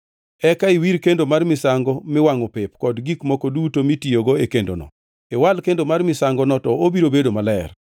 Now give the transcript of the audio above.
Eka iwir kendo mar misango miwangʼo pep kod gik moko duto mitiyogo e kendono, iwal kendo mar misangono to obiro bedo maler.